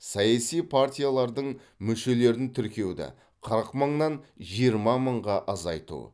саяси партиялардың мүшелерін тіркеуді қырық мыңнан жиырма мыңға азайту